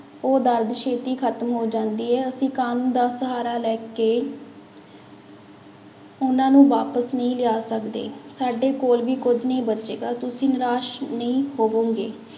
ਉਹ ਦਰਦ ਛੇਤੀ ਖ਼ਤਮ ਹੋ ਜਾਂਦੀ ਹੈ, ਅਸੀਂ ਕਾਨੂੰਨ ਦਾ ਸਹਾਰਾ ਲੈ ਕੇ ਉਹਨਾਂ ਨੂੰ ਵਾਪਸ ਨਹੀਂ ਲਿਆ ਸਕਦੇ, ਸਾਡੇ ਕੋਲ ਵੀ ਕੁੱਝ ਨਹੀਂ ਬਚੇਗਾ, ਤੁਸੀਂ ਨਿਰਾਸ ਨਹੀਂ ਹੋਵੋਗੇ।